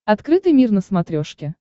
открытый мир на смотрешке